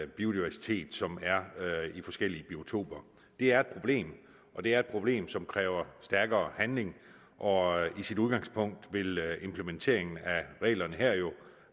biodiversitet som er i forskellige biotoper det er et problem og det er et problem som kræver stærkere handling og i sit udgangspunkt vil implementeringen af reglerne her jo